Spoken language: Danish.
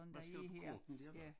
Hvad står på kortene ja